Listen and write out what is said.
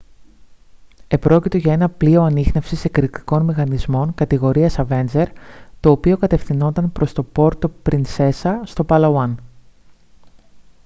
επρόκειτο για ένα πλοίο ανίχνευσης εκρηκτικών μηχανισμών κατηγορίας avenger το οποίο κατευθυνόταν προς το πόρτο πρινσέσα στο παλαουάν